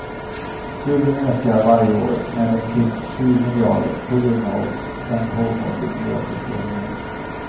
Skulden ökar varje år med omkring sju miljarder på grund av den pågående miljöförstöringen.